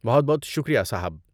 بہت بہت شکریہ صاحب!